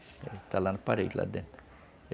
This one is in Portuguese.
Ele está lá na parede, lá dentro.